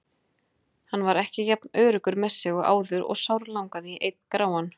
Hann var ekki jafn öruggur með sig og áður og sárlangaði í einn gráan.